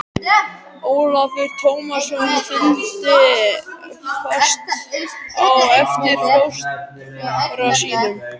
Ólafur Tómasson fylgdi fast á eftir fóstra sínum.